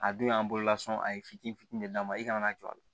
A dun y'an bololasɔn a ye fitini fitini de d'a ma i kana jɔ a la